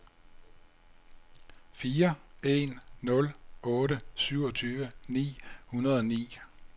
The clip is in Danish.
fire en nul otte syvogtyve ni hundrede og ni